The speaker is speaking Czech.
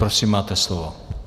Prosím, máte slovo.